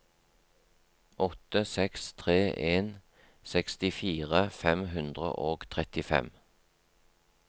åtte seks tre en sekstifire fem hundre og trettifem